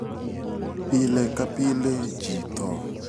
Pile ka pile ji tho.